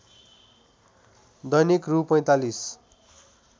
दैनिक रु ४५